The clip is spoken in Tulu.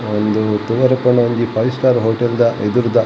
ಒಂದು ತೂವೆರೆ ಪೋಂಡ ಒಂಜಿ ಫೈವ್ ಸ್ಟಾರ್ ಹೊಟೇಲ್ ದ ಎದುರುದ.